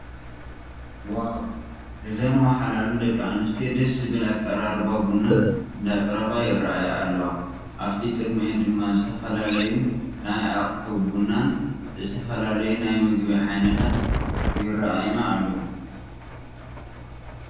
ዋው እዘን ዋሓላሉ ደቂ ኣነስትዮ ደስ ዝብል ኣቀራርባ ቡና እንዳቅረባ ይረአያ ኣለዋ። ኣብቲ ቅድሚአን ድማ ዝተፈላለዩ ናይ ኣቁሑ ቡናን ዝተፈላለዩ ናይ ምግቢ ዓዐይነትን ይረአዩና ኣለዉ።